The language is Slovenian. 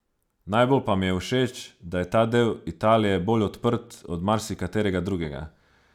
Najbolj pa mi je všeč, da je ta del Italije bolj odprt od marsikaterega drugega.